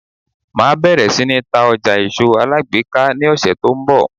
Máa bẹ̀rẹ̀ sí ní ta ọjà èso alágbèéká ní ọ̀sẹ̀ tó ń bọ̀.